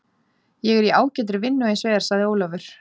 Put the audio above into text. Ég er í ágætri vinnu eins og er, sagði Ólafur.